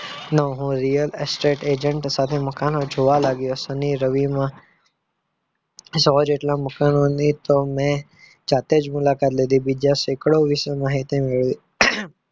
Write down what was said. નો હું real estate agent સાથે મકાન જોવા લાગ્યો શનિ-રવિમાં સવા જેટલા મકાનોની તો મેં જાતે જ મુલાકાત લીધી બીજા સેકડો વિશે માહિતી મેળવી